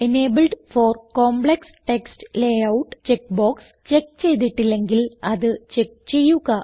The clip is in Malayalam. enabled for complex text layout check box check ചെയ്തിട്ടില്ലെങ്കിൽ അത് ചെക്ക് ചെയ്യുക